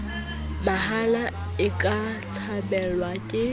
mahala e ka thabelwang ke